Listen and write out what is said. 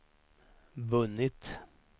vunnit